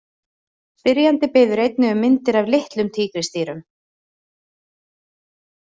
Spyrjandi biður einnig um myndir af litlum tígrisdýrum.